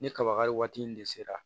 Ni kaba kari waati in de sera